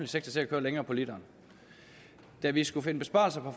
sektor til at køre længere på literen da vi skulle finde besparelser